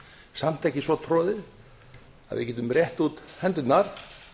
samt ekki svo troðið að við getum rétt út hendurnar